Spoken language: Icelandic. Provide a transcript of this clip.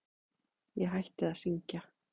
Ég hætti að syngja.